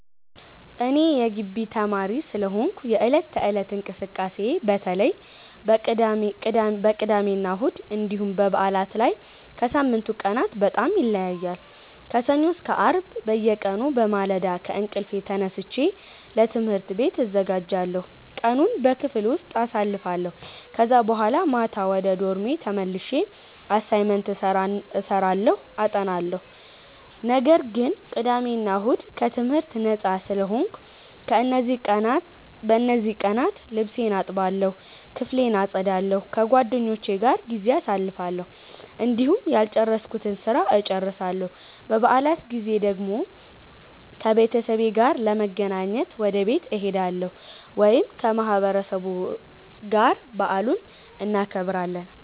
እኔ የጊቢ ተማሪ ስለሆንኩ የዕለት ተዕለት እንቅስቃሴዬ በተለይ በቅዳሜና እሁድ እንዲሁም በበዓላት ላይ ከሳምንቱ ቀናት በጣም ይለያያል። ከሰኞ እስከ አርብ በየቀኑ በማለዳ ከእንቅልፌ ተነስቼ ለትምህርት ቤት እዘጋጃለሁ፣ ቀኑን በክፍል ውስጥ አሳልፋለሁ ከዛ በኋላ ማታ ወደ ዶርሜ ተመልሼ አሳይመንት እሰራለሁ አጠናለሁ። ነገር ግን ቅዳሜ እና እሁድ ከትምህርት ነጻ ስለሆንኩ፣ በእነዚህ ቀናት ልብሴን እጠባለሁ፣ ክፍሌን አጸዳለሁ፣ ከጓደኞቼ ጋር ጊዜ አሳልፋለሁ፣ እንዲሁም ያልጨረስኩትን ስራ እጨርሳለሁ። በበዓላት ጊዜ ደግሞ ከቤተሰቤ ጋር ለመገናኘት ወደ ቤት እሄዳለሁ ወይም ከማህበረሰቡ ጋር በዓሉን እናከብራለን።